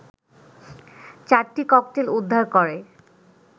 চারটি ককটেল উদ্ধার করে